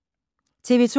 TV 2